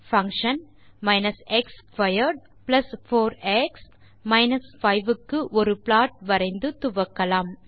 function minus x squared plus 4எக்ஸ் minus 5 க்கு ஒரு ப்லாட் வரைந்து துவக்கலாம்